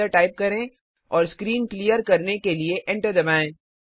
clear type करें और screen clear करने के लिए एंटर दबाएं